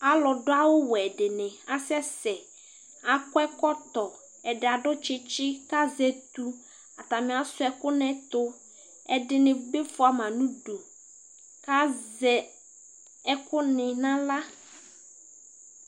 alʊ dʊ awʊ wɛ dɩnɩ akasɛsɛ akɔ ɛkɔtɔ ɛdɩ nɩ azɛ etʊ azɛ ɛkʊ nʊ axla